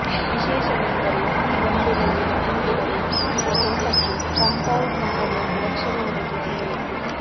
ವಿಶೇಷವೆಂದರೆ ಈ ಬಂಡೆಗಲ್ಲಿನ ತುಂಡುಗಳು ಈಗ ತೋಟಕ್ಕೆ ಕಾಂಪೌಂಡ್ ಮಾದರಿಯಲ್ಲಿ ರಕ್ಷಣೆ ಒದಗಿಸಿವೆ